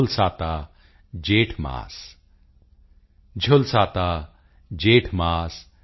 ਝੁਲਸਾਤਾ ਜੇਠ ਮਾਸ